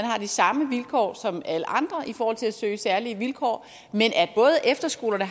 har de samme vilkår som alle andre i forhold til at søge særlige vilkår og at efterskolerne